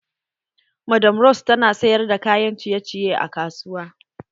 Madam rose tana sayar da kayan ciye ciye a kasuwa